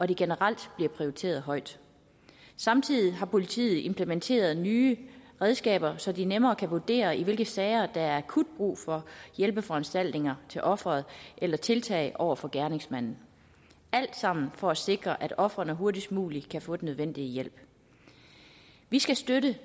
de generelt bliver prioriteret højt samtidig har politiet implementeret nye redskaber så de nemmere kan vurdere i hvilke sager der er akut brug for hjælpeforanstaltninger til offeret eller tiltag over for gerningsmanden alt sammen er for at sikre at ofrene hurtigst muligt kan få den nødvendige hjælp vi skal støtte